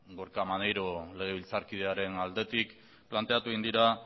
gorka maneiro legebiltzarkidearen aldetik planteatu egin dira